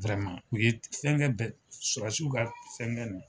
u ye fɛn fɛn bɛ sɔrasiw ka fɛn ninnu